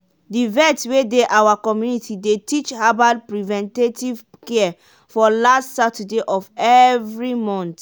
the vet wey dey our community dey teach herbal preventative care for last saturday of every month.